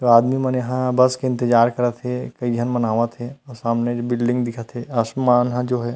आदमी मन यहाँ बस के इंतेजार करत हे कई झन मन आवत हे सामने बिल्डिंग दिखत हे आसमान ह जो हे।